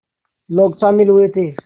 लोग शामिल हुए थे